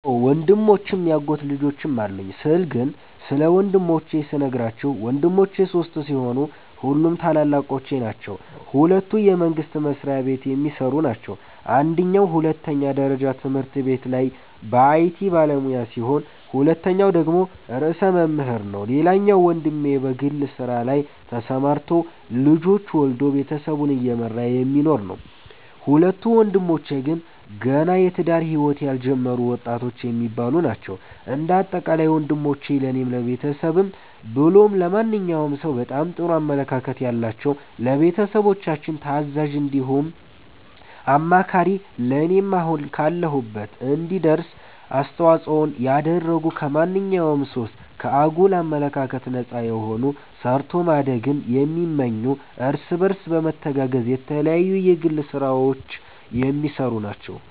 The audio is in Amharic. አዎ ወንድሞችም ያጎት ልጆችም አሉኝ ስለ ግን ስለ ወንድሞቼ ስነግራችሁ ወንድሞቼ ሶስት ሲሆኑ ሁሉም ታላላቆቼ ናቸዉ ሁለቱ የመንግስት መስሪያቤት የሚሰሩ ናቸው አንደኛዉ ሁለተኛ ደረጃ ትምህርት ቤት ላይ የአይቲ ባለሙያ ሲሆን ሁለተኛዉ ደግሞ ርዕሰ መምህር ነዉ ሌላኛዉ ወንድሜ በግል ስራ ላይ ተሰማርቶ ልጆች ወልዶ ቤተሰቡን እየመራ የሚኖር ነዉ። ሁለቱ ወንድሞቼ ግን ገና የትዳር ህይወት ያልጀመሩ ወጣቶች የሚባሉ ናቸዉ። እንደ አጠቃላይ ወንሞቼ ለኔም ለቤተሰብም ብሎም ለማንኛዉም ሰዉ በጣም ጥሩ አመለካከት ያላቸዉ፣ ለቤተሰቦቻችን ታዛዥ እንዲሁም አማካሪ ለኔም አሁን ካለሁበት እንድደርስ አስተዋፅኦን ያደረጉ ከማንኛዉም ሱስ፣ ከአጉል አመለካከት ነፃ የሆኑ ሰርቶ ማደግን የሚመኙ እርስ በርሳቸው በመተጋገዝ የተለያዩ የግል ስራዎች የሚሰሩ ናቸዉ።